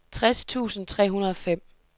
tres tusind tre hundrede og fem